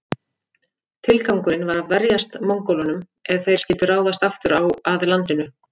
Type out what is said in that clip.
Tilgangurinn var að verjast Mongólunum ef þeir skyldu ráðast aftur að landinu.